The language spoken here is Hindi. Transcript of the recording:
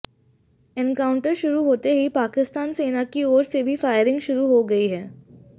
एनकाउंटर शुरू होते ही पाकिस्तान सेना की ओर से भी फायरिंग शुरू हो गई है